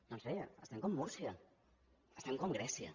doncs bé estem com múrcia estem com grècia